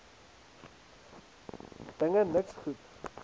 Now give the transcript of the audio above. dinge niks goed